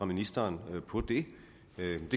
ministeren på det det